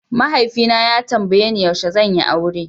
Mahaifi na ya tambaye ni yaushe zan yi aure.